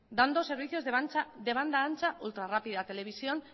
dando servicios de banda ancha ultrarrápida televisión